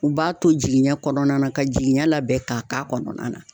U b'a to jiginɲɛ kɔnɔna na, ka jiginɲɛ labɛn ka k'a kɔnɔna na.